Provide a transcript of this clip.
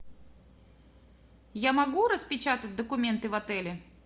я могу распечатать документы в отеле